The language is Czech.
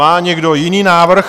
Má někdo jiný návrh?